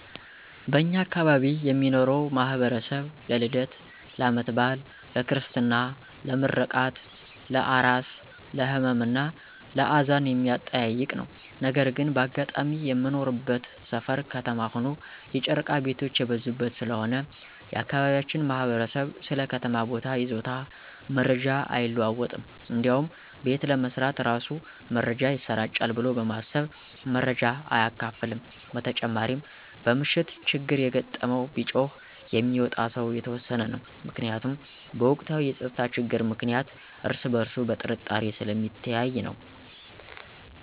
በእኛ አካባቢ የሚኖረው ማህበረሰብ ለልደት፣ ለአመት በአል፣ ለክርስትና፣ ለምረቃት፣ ለአራስ፣ ለህመም እና ለአዘን የሚጠያየቅ ነው። ነገር ግን በአጋጣሚ የምንኖርበት ሰፈር ከተማ ሆኖ የጨረቃ ቤቶች የበዙበት ስለሆነ የአካባቢያችን ማህበረሰብ ስለ ከተማ ቦታ ይዞታ መረጃ አይለዋወጥም እንዲያውም ቤት ለመስራት እራሱ መረጃ ይሰራጫል ብሎ በማሰብ መረጃ አያካፍልም። በተጨማሪ በምሽት ችግር የገጠመው ቢጮህ የሚወጣ ሰው የተወሰነ ነው። ምክንያቱም በወቅታዊ የፀጥታ ችግር ምክንያት እርስ በእርሱ በጥርጣሬ ስለሚተያይ ነው።